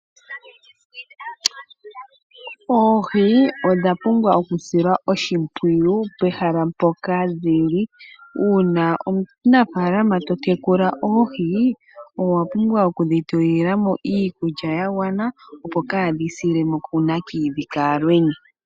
Oohi odha pumbwa oku silwa oshimpwiyu pehala mpoka dhili, uuna omunafaalama to tekula oohi owa pumbwa oku dhi tulila mo iikulya ya gwana opo kaa dhi sile mo ku nakayidhi kaalwenya.